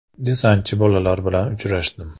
Desantchi bolalar bilan uchrashdim.